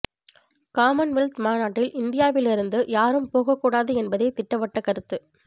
Commonwealth மாநாட்டில் இந்தியாவிலிருந்து யாரும் போகக் கூடாது என்பதே திட்டவட்ட கருத்து